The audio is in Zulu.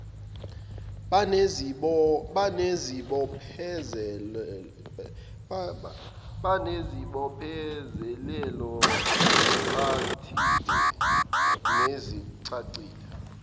banezibophezelelo ezixhantile nezicacile